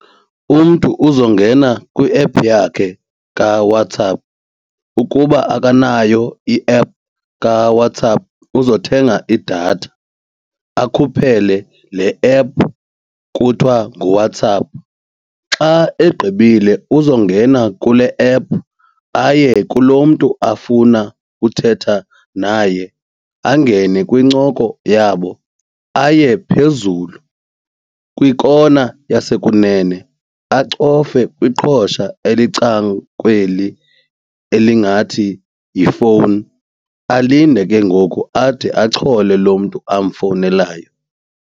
Umntu uzongena kwi-app yakhe kaWhatsApp. Ukuba akanayo i-app kaWhatsApp uzothenga idatha akhuphele le app kuthiwa nguWhatsApp. Xa egqibile uzongena kule app aye kulo mntu afuna uthetha naye angene kwincoko yabo, aye phezulu kwikona yasekunene, acofe kwiqhosha elicangukweli elingathi yifowuni alinde ke ngoku ade achole lo mntu amfowunelayo.